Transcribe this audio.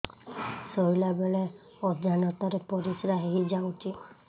ଶୋଇଲା ବେଳେ ଅଜାଣତ ରେ ପରିସ୍ରା ହେଇଯାଉଛି